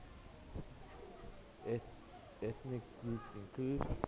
ethnic groups include